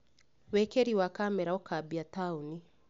Wĩkĩri wa kamera ũkambia taoni